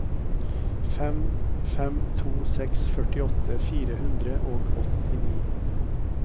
fem fem to seks førtiåtte fire hundre og åttini